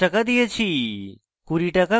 20 টাকা কাটা হয়েছে